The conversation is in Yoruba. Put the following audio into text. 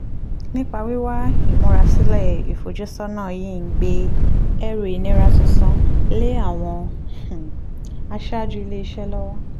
nípa wíwá ìmúrasílẹ̀ ìfojúsọ́nà yìí ń gbé ẹrù ìnira tuntun lé àwọn um aṣáájú ilé iṣẹ́ lọ́wọ́